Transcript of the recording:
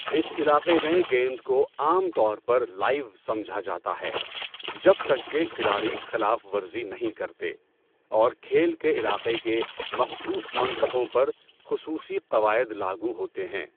اس علاقے میں گیند کو عام طور پر لائیو سمجھا جاتا ہے، جب تک کہ کھلاڑی خلاف ورزی نہیں کرتے اور کھیل کے علاقے کے مخصوص منطقوں پر خصوصی قواعد لاگو ہوتے ہیں۔